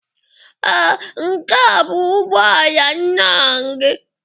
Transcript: Ee, nke a bụ ụgbọ ala nna gị.